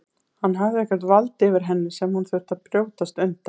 Hann hafði eitthvert vald yfir henni sem hún þurfti að brjótast undan.